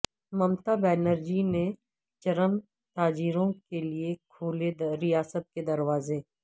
ممتا بنرجی نے چرم تاجروں کے لئے کھولے ریاست کے دروازے